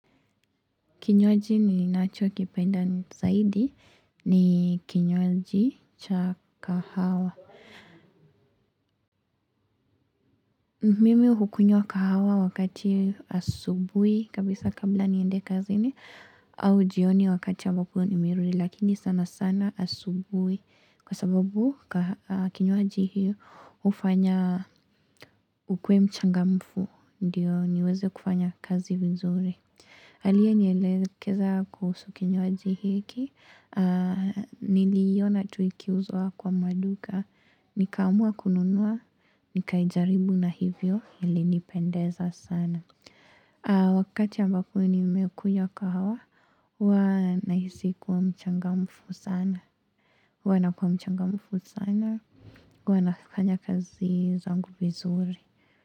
Kinywaji ninacho kipenda zaidi ni kinywaji cha kahawa. Mimi hukunywa kahawa wakati asubuhi kabisa kabla niende kazini au jioni wakati ambapo nimerudi lakini sana sana asubuhi. Kwa sababu kinywaji hiyo hufanya ukuwe mchangamfu ndio niweze kufanya kazi vizuri. Aliyenielekeza kuhusu kinywaji hiki, niliona tu ikiuzwa kwa maduka, nikaamua kununua, nikaijaribu na hivyo ilinipendeza sana. Wakati ambapo nimekunywa kahawa huwa, nahisi kuwa mchangamfu sana, huwa nakuwamchangamfu sana, huwa nafanya kazi zangu vizuri.